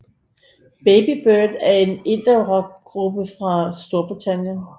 Baby Bird er en indierock gruppe fra Storbritannien